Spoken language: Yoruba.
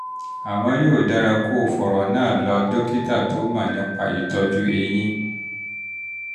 àmọ́ yóò dára kó o fọ̀rọ̀ náà lọ lọ dókítà tó mọ̀ nípa ìtọ́jú eyín